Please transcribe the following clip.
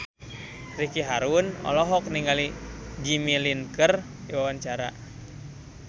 Ricky Harun olohok ningali Jimmy Lin keur diwawancara